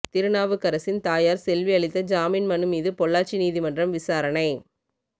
திருநாவுக்கரசின் தாயார் செல்வி அளித்த ஜாமீன் மனு மீது பொள்ளாச்சி நீதிமன்றம் விசாரணை